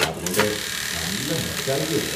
അതുകൊണ്ട് നല്ല നൊസ്റ്റാൾജിയ ഉണ്ട്.